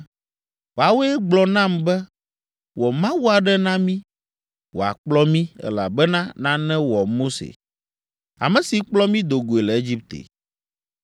Woawoe gblɔ nam be, ‘Wɔ mawu aɖe na mí, wòakplɔ mí, elabena nane wɔ Mose, ame si kplɔ mí do goe le Egipte.’